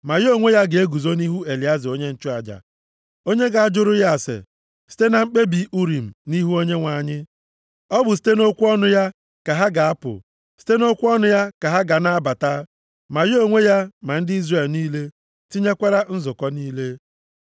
Ma ya onwe ya ga-eguzo nʼihu Elieza onye nchụaja, onye ga-ajụrụ ya ase site na mkpebi Urim nʼihu Onyenwe anyị. Ọ bụ site nʼokwu ọnụ ya ka ha ga-apụ, site nʼokwu ọnụ ya ka ha ga-ana abata. Ma ya onwe ya, ma ndị Izrel niile, tinyekwara nzukọ niile.”